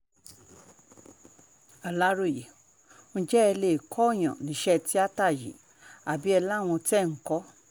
aláròye ǹjẹ́ ẹ lè kóòyàn níṣẹ́ tíáta yìí àbí ẹ láwọn tẹ́ ẹ̀ ń kọ́